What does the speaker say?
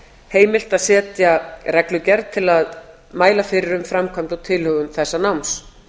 heimilt að setja reglugerð til að mæla fyrir um framkvæmd og tilhögun þessa náms